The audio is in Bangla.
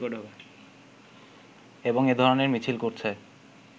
এবং এ ধরণের মিছিল করছে